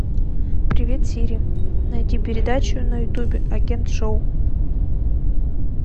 привет сири найди передачу на ютубе агент шоу